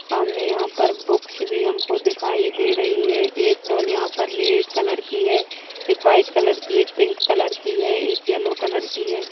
सामने यहाँ पर बुक्स भी हमको दिखाई दे रही हैं एक डॉल यहाँ पर रेड कलर की है एक वाइट कलर की है एक पिंक कलर की है एक येलो कलर की है।